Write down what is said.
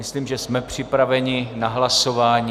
Myslím, že jsme připraveni na hlasování.